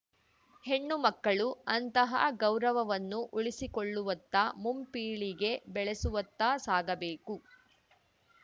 ಹೆಣ್ಣುಮಕ್ಕಳು ಅಂತಹ ಗೌರವವನ್ನು ಉಳಿಸಿಕೊಳ್ಳುವತ್ತ ಮುಂಪೀಳಿಗೆ ಬೆಳೆಸುವತ್ತ ಸಾಗಬೇಕು